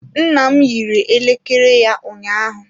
Nna m yiri elekere ya ụnyaahụ.